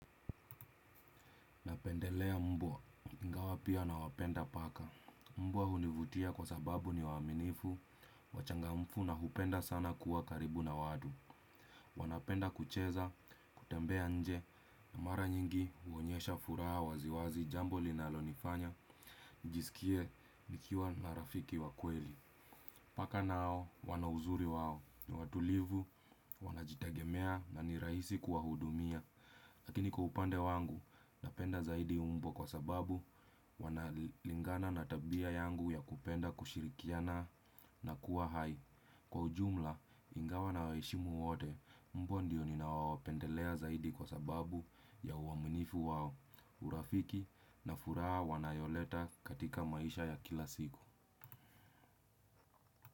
Napendelea mbwa ingawa pia nawapenda paka. Mbwa hunivutia kwa sababu ni waaminifu, wachangamfu na hupenda sana kuwa karibu na watu. Wanapenda kucheza, kutembea nje na mara nyingi huonyesha furaha wazi wazi jambo linalonifanya. Nijisikie nikiwa na rafiki wa kweli. Paka nao wana uzuri wao, ni watulivu, wanajitegemea na ni rahisi kuwahudumia. Lakini kwa upande wangu, napenda zaidi umbo kwa sababu wanalingana na tabia yangu ya kupenda kushirikiana na kuwa hai. Kwa ujumla, ingawa nawaheshimu wote, mbwa ndiyo ninawapendelea zaidi kwa sababu ya uaminifu wao. Urafiki na furaha wanayoleta katika maisha ya kila siku.